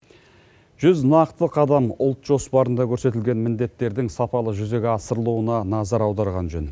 жүз нақты қадам ұлт жоспарында көрсетілген міндеттердің сапалы жүзеге асырылуына назар аударған жөн